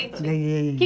Ganhei Que.